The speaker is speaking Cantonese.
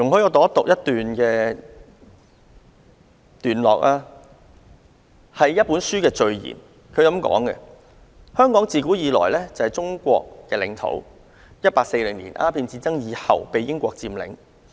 以下我引述一本書的序言其中一段："香港自古以來就是中國的領土，一八四○年鴉片戰爭以後被英國佔領。